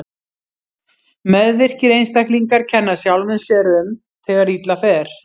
Meðvirkir einstaklingar kenna sjálfum sér um þegar illa fer.